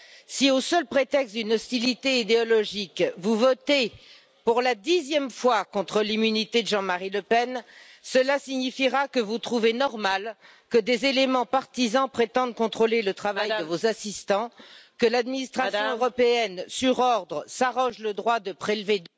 Si, au seul prétexte d'un différend d'ordre idéologique, vous votez pour la dixième fois contre l'immunité de Jean Marie Le Pen, cela signifie que vous trouvez normal que des éléments partisans viennent s'immiscer dans le travail de vos assistants, que l'administration européenne, sur ordre, s'arroge le droit de prélever...